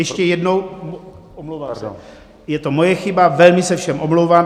Ještě jednou, je to moje chyba, velmi se všem omlouvám.